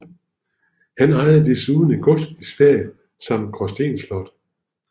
Han ejede desuden et gods i Sverige samt Gråsten slot